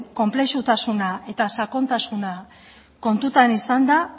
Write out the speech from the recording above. konplexutasuna eta sakontasuna kontutan izanda